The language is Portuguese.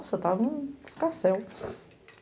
Nossa, estava um escarcéu.